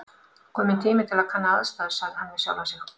Kominn tími til að kanna aðstæður sagði hann við sjálfan sig.